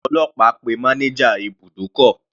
Àwọn ọlọ́pàá pe manager ibùdókọ̀.